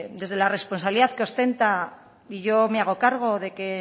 desde la responsabilidad que obtenla y yo me hago cargo de que